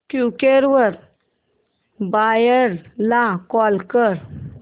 Quikr वर buyer ला call कर